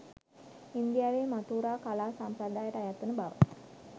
ඉන්දියාවේ මථුරා කලා සම්ප්‍රදායට අයත් වන බව